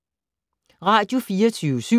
Radio24syv